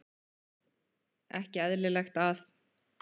Ekki eðlilegt að-